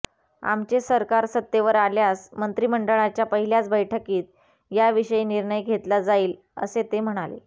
आमचे सरकार सत्तेवर आल्यास मंत्रिमंडळाच्या पहिल्याच बैठकीत याविषयी निर्णय घेतला जाईल असे ते म्हणाले